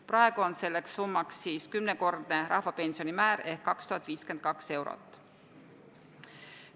Praegu on selleks summaks kümnekordne rahvapensioni määr ehk 2052 eurot.